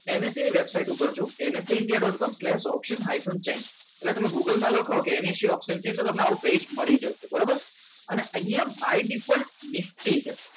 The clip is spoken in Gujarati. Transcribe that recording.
NSA એન website ઉપર છું nsaindia. com એટલે તમે એટલે તમે goggle માં લખો કે NSC આવું પેજ મડી જસે option ની અંદર કંઈક મળી જશે બરાબર અને અહીંયા by default નિફ્ટી છે